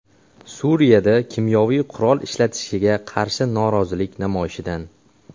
Suriyada kimyoviy qurol ishlatilishiga qarshi norozilik namoyishidan.